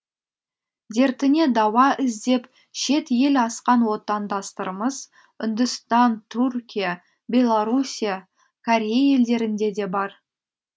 дертіне дауа іздеп шет ел асқан отандастарымыз үндістан түркия беларусия корея елдерінде де бар